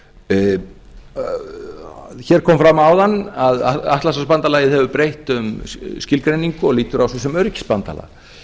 hér kom fram áðan að atlantshafsbandalagið hefur breytt um skilgreiningu og lítur á sig sem öryggisbandalag